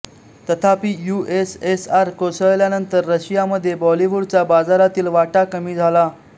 तथापि यूएसएसआर कोसळल्यानंतर रशियामध्ये बॉलिवूडचा बाजारातील वाटा कमी झाला